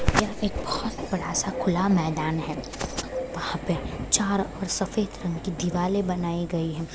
यहाँ पे एक बहोत बड़ा सा खुला मैदान है वहाँ पे चार और सफ़ेद रंग की दीवाले बनाई गई हैं।